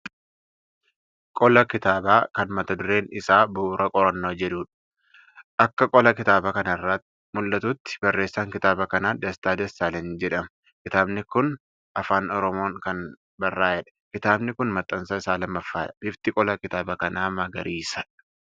Qola kitaabaa kan mata dureen isaa Bu'uura Qorannoo jedhudha. Akka qola kitaaba kanarraa mul'atuutti barreessaan kitaaba kanaa Dastaa Dassaalagn jedhama. Kitaabi kun Afaan Oromoon kan barraa'edha. Kitaabi kuni maxxansa isaa lammaffaadha. Bifti qola kitaaba kanaa magariisadha.